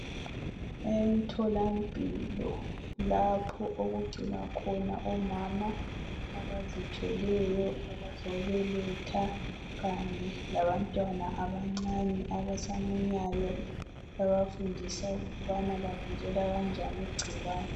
Emtholampilo lapho okugcinwa khona omama abazithweleyo abazobeletha kanye labantwana abancane abasamunyayo bebafundisa ukubana bavikela kanjani ingcikwane.